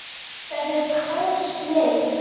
Þetta er tær snilld.